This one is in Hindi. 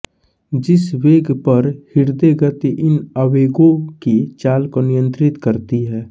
जिस वेग पर हृदय गति इन आवेगों की चाल को नियंत्रित करती है